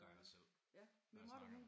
Gør jeg også selv når jeg snakker